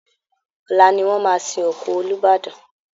Ọ̀la ni wọ́n máa sin òkú Olúbàdàn